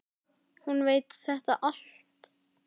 Hún veit þetta allt.